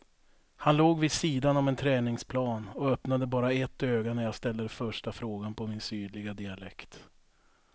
Han låg vid sidan om en träningsplan och öppnade bara ett öga när jag ställde första frågan på min sydliga dialekt.